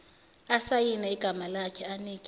asayine igamalakhe anike